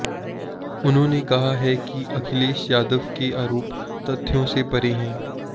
उन्होंने कहा है कि अखिलेश यादव के आरोप तथ्यों से परे हैं